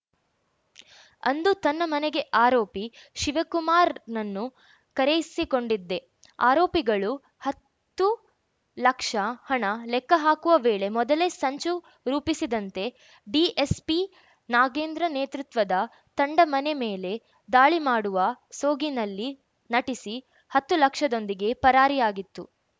ಅಂದು ತನ್ನ ಮನೆಗೆ ಆರೋಪಿ ಶಿವಕುಮಾರ್‌ನನ್ನು ಕರೆಯಿಸಿಕೊಂಡಿದ್ದೆ ಆರೋಪಿಗಳು ಹತ್ತು ಲಕ್ಷ ಹಣ ಲೆಕ್ಕ ಹಾಕುವ ವೇಳೆ ಮೊದಲೇ ಸಂಚು ರೂಪಿಸಿದಂತೆ ಡಿಎಸ್ಪಿ ನಾಗೇಂದ್ರ ನೇತೃತ್ವದ ತಂಡ ಮನೆ ಮೇಲೆ ದಾಳಿ ಮಾಡುವ ಸೋಗಿನಲ್ಲಿ ನಟಿಸಿ ಹತ್ತು ಲಕ್ಷದೊಂದಿಗೆ ಪರಾರಿಯಾಗಿತ್ತು